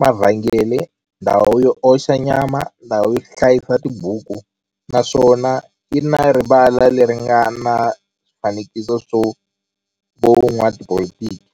mavhengele, ndhawu yo oxa nyama, ndhawu yo hlayisa tibuku, naswona yi na rivala le ri nga na swifanekiso swa vo n'watipolitiki.